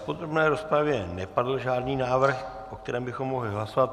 V podrobné rozpravě nepadl žádný návrh, o kterém bychom mohli hlasovat.